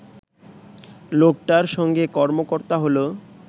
লোকটার সঙ্গে কতাবার্তা হলো